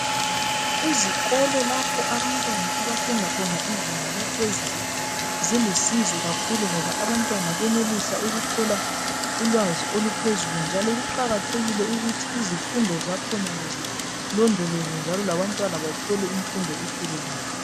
Izikolo lapho abantwana ziluncedo kakhulu ngoba abantwana bayenelisa ukuthola ulwazi oluphezulu njalo kuqakathekile ukuthi iIfundo zakhonale zilondolozwe njalo labantwana bathole imfundo epheleleyo.